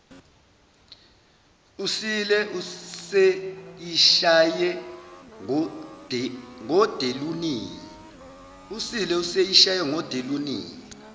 usile useyishaye ngodelunina